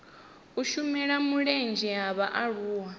u shela mulenzhe ha vhaaluwa